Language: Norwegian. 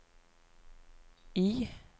I